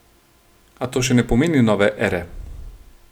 A to še ne pomeni nove ere.